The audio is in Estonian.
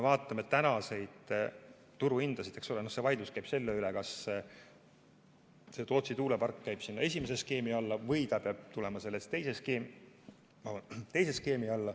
Vaidlus käib selle üle, kas Tootsi tuulepark läheb esimese skeemi alla või ta peab minema teise skeemi alla.